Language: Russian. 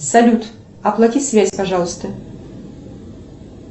салют оплати связь пожалуйста